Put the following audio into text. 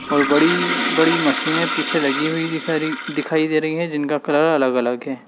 और बड़ी बड़ी मशीने पीछे लगी हुई दिख दिखाई दे रही है जिनका कलर अलग अलग है।